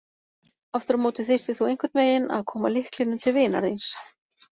Aftur á móti þyrftir þú einhvern veginn að koma lyklinum til vinar þíns.